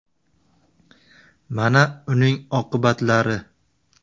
Mana uning oqibatlari .